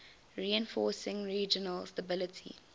reinforcing regional stability